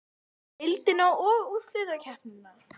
Deildina og úrslitakeppnina?